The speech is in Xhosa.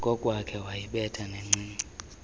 kokwakhe wayibetha yancinci